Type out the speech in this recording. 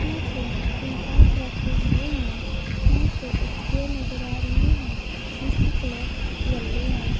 यहां पे तीन पाइप रखे हुए हैं यहां पे एक चेयर नजर आ रही है जिसकी कलर येलो है।